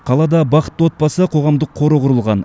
қалада бақытты отбасы қоғамдық қоры құрылған